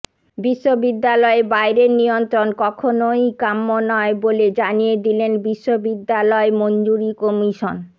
বিশ্ববিদ্যালয়ে বাইরের নিয়ন্ত্রণ কখনওই কাম্য নয় বলে জানিয়ে দিলেন বিশ্ববিদ্যালয় মঞ্জুরি কমিশন